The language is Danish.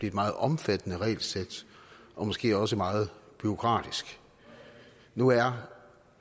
et meget omfattende regelsæt og måske også meget bureaukratisk nu er